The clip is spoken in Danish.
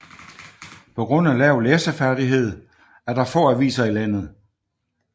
På grund af lav læseferdighed er der få aviser i landet